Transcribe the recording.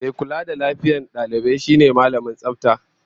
Mai kula da lafiyar dalibai shine Mallamin Tsafta